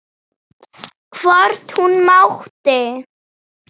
Hvort hún mátti!